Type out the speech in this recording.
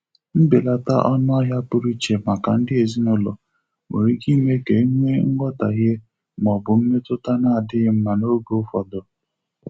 Mbelata onuahịa pụrụ iche maka ndị ezinụlọ nwere ike ime ka e nwee nghọtahie ma ọ bụ mmetụta na-adịghị mma n'oge ụfọdụ.